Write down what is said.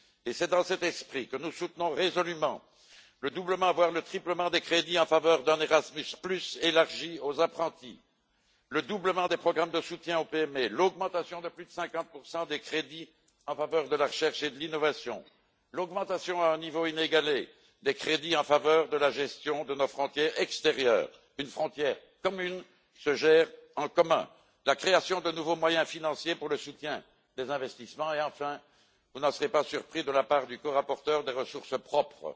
C'est dans cet esprit que nous soutenons résolument le doublement, voire le triplement, des crédits en faveur d'un Erasmus étendu aux apprentis, le doublement des programmes de soutien aux PME, l'augmentation de plus de 50 des crédits en faveur de la recherche et de l'innovation, l'augmentation à un niveau inégalé des crédits en faveur de la gestion de nos frontières extérieures une frontière commune se gère en commun la création de nouveaux moyens financiers pour le soutien des investissements et, enfin vous n'en serez pas surpris de la part du corapporteur des ressources propres.